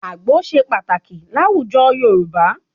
Àgbó ṣe pàtàkì láwùjọ Yorùbá.